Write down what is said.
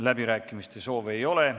Läbirääkimiste soovi ei ole.